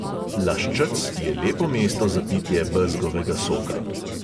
Laščec je lepo mesto za pitje bezgovega soka.